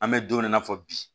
An bɛ don min na i n'a fɔ bi